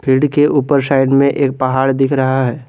Field के ऊपर शायद में एक पहाड़ दिख रहा है।